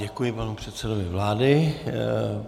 Děkuji panu předsedovi vlády.